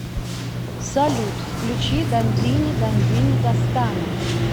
салют включи дандини дандини дастана